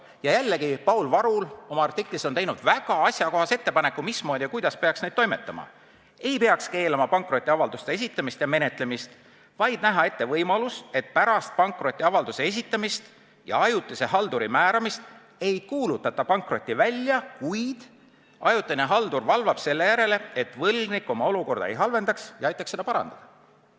Ja jällegi, Paul Varul on oma artiklis teinud väga asjakohase ettepaneku, kuidas peaks nende avaldustega toimima: ei peaks keelama pankrotiavalduste esitamist ja menetlemist, vaid tuleks näha ette võimalus, et pärast pankrotiavalduse esitamist ja ajutise halduri määramist mitte ei kuulutata välja pankrotti, vaid ajutine haldur hakkab valvama, et võlgnik oma olukorda ei halvendaks, ja aitab seda parandada.